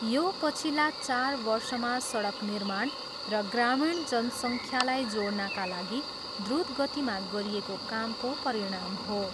यो, पछिल्ला चार वर्षमा सडक निर्माण र ग्रामीण जनसङ्ख्यालाई जोड्नाका लागि द्रुत गतिमा गरिएको कामको परिणाम हो।